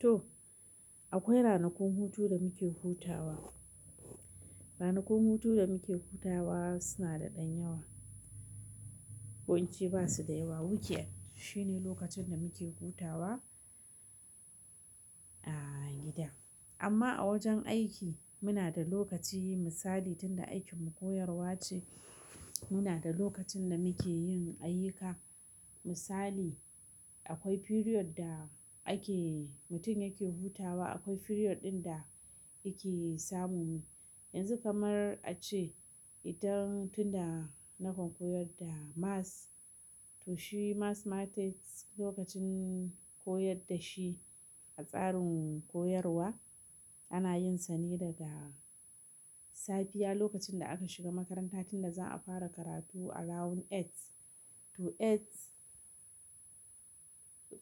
To akwai ranakun hutu da muke hutawa. Ranakun hutu da muke hutawa suna da ɗan yawa. Ko in ce ba su da yawa. Weekend shine lokacin da muke hutawa a gida. Amma a wajen aiki muna da lokaci misali tunda aikin mu koyarwa ce, muna da lokacin da muke yin ayyuka. Misali akwai period da ake mutum yake hutawa, akwai period ɗin da yake samumi. Yanzu kamar a ce ita tunda nakan koyar da maths to shi mathematics lokacin koyar da shi a tsarin koyarwa ana yin sani daga safiya lokacin da aka shiga makaranta tunda za a fara karatu around eight to eight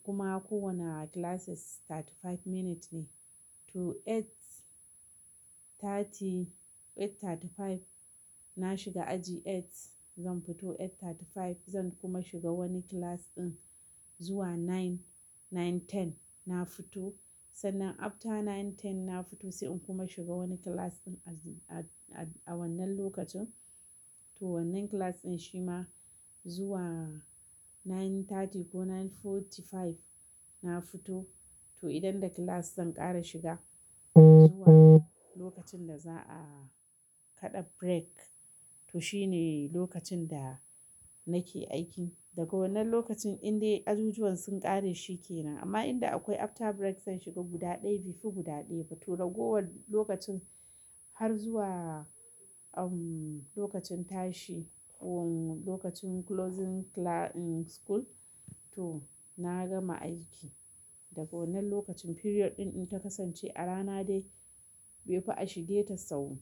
kuma kowane classes thirty-five minutes ne. To eight thirty, eight thirty-five na shiga aji eight zan fito eight thirty-five zan kuma shiga wani class ɗin zuwa nine, nine ten na fito. Sannan after nine ten na fito sai in kuma shiga wani class ɗin a wannan lokacin. To wannan class ɗin shi ma zuwa nine thirty ko nine forty-five na fito. To idan da class zan ƙara shiga zuwa lokacin da za a kaɗa break to shine lokacin da nake aiki. Daga wannan lokacin indai ajujuwan sun ƙare shi ke nan. Amma inda akwai after break zan shiga guda ɗaya bai fi guda ɗaya ba. To daga wannan lokacin har zuwa lokacin tashi ko lokacin closing class school to na gama aiki. Daga wannan lokacin period ɗin in ta kasance a rana dai bai fi a shige ta sau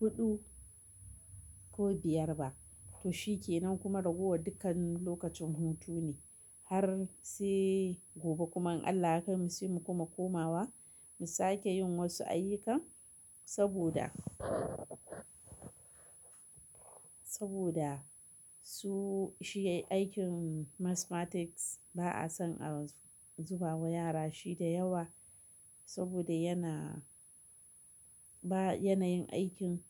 huɗu ko biyar ba. To shi ke nan kuma ragowa dukkan lokacin hutu ne har sai gobe kuma in Allah ya kaimu sai mu kuma komawa mu sake yin wasu ayyuka saboda, saboda su shi aikin mathematics ba a son a zuba wa yara shi da yawa saboda yana ba yanayin aikin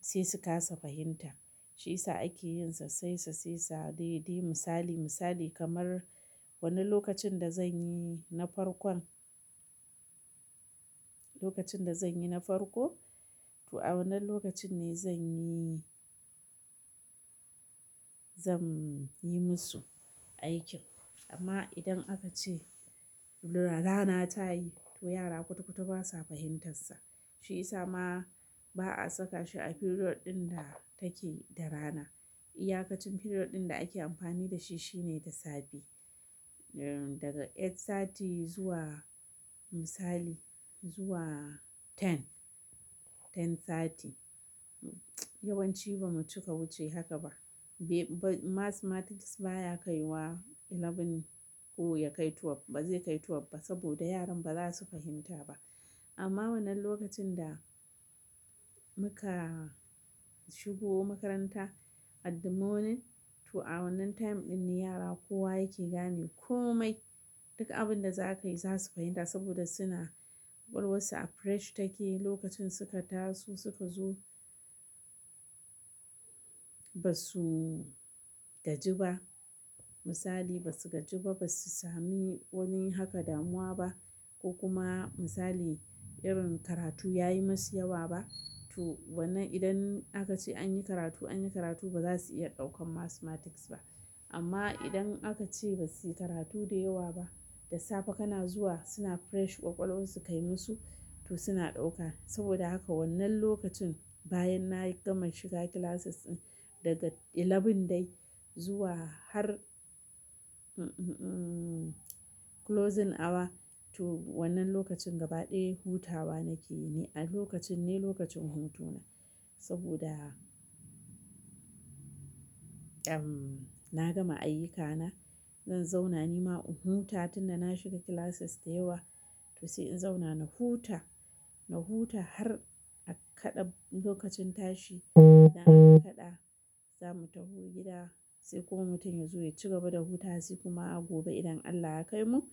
sai su ƙasa fahimta. Shi isa ake yin sassai sassai, misali misali kamar wannan lokacin da zan yi na farkon, lokacin da zan yi na farko to a wannan lokacin ne zan yi, zan yi musu aikin. Amma idan aka ce rana ta yi to yara kutu kutu ba sa fahimtarsa. Shi isa ma ba a saka shi a period ɗin da take da rana. Iyaƙacin period ɗin da ake amfani da shi shine da safe. Daga eight sati zuwa misali zuwa 10, 10 sati. Yawan ci ba mu cika wuce haka ba. Mathematics baya kai wa eleven ko ya kai twelve. Ba zai kai twelve ba saboda yaran ba za su fahimta ba. Amma wannan lokacin da muka shigo makaranta at the morning to a wannan time ɗin ne yara kowa yake gane komai. Duk abin da za ka yi za su fahimta saboda suna ƙwaƙwalwarsu a fresh take lokacin suka taso suka zo ba su gaji ba misali ba su gaji ba ba su sami wani haka damuwa ba ko kuma misali irin karatu ya yi masu yawa ba. To wannan idan aka ce an yi karatu an yi karatu ba za su iya ɗaukan mathematics ba. Amma idan aka ce ba su yi karatu da yawa ba, da safe kana zuwa suna fresh ƙwaƙwalwarsu kai musu to suna ɗauka. Saboda haka wannan lokacin bayan na gama shiga classes ɗin daga eleven dai zuwa har closing hour to wannan lokacin gaba ɗaya hutawa nake yi ne. Lokacin ne lokacin hutuna saboda na gama ayyukana. Zan zauna ni ma in huta tunda na shiga classes da yawa to sai in zauna na huta, na huta har a kaɗa lokacin tashi da aka kaɗa za mu tafi gida sai kuma mutum ya zo ya ci gaba da hutarsa kuma a gobe idan Allah ya kaimu sai mu.